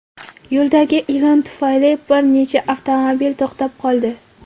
Yo‘ldagi ilon tufayli bir necha avtomobil to‘xtab qoldi.